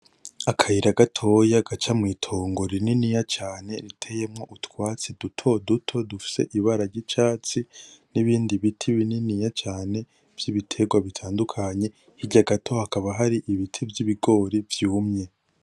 Akayira gatoya gaca mwitongo rininiya cane ritiyemwo utwatsi dutoduto dufise ibara ryicatsi nibindi biti bininiya cane vyibiterwa bitandukanye hirya gato hakaba hari ibiti vyibigori vyumye .